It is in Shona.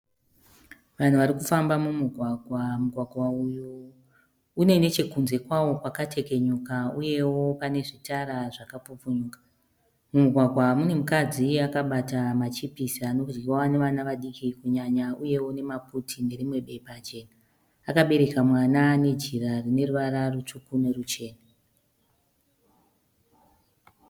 Vanhu vari kufamba mumugwagwa. Mugwagwa uyu une nechekunze kwawo kwakatekenyuka uyewo pane zvitara zvakapfupfunyuka. Mumugwagwa mune mukadzi akabata machipisi anodyiwa navana vadiki kunyanya uyewo nemaputi nerimwe bepa jena. Akabereka mwana nejira rine ruvara rutsvuku noruchena.